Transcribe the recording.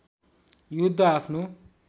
युद्ध आफ्नो